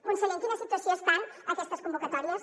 conseller en quina situació estan aquestes convocatòries